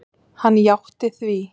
Hann játti því.